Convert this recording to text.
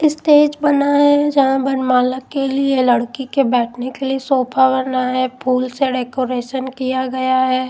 Stage बना है जहां वरमाला के लिए लड़की के बैठने के लिए सोफा बना है फूल से डेकोरेशन किया गया है।